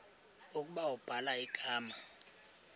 ukuba ubhala igama